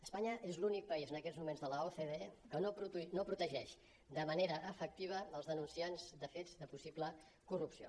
espanya és l’únic país en aquests moments de l’ocde que no protegeix de manera efectiva els denunciats de fets de possible corrupció